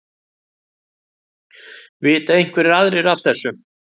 Vita einhverjir aðrir af þessu?